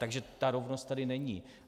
Takže ta rovnost tady není.